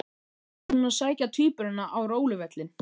Svo ætlaði, hún að sækja tvíburana á róluvöllinn.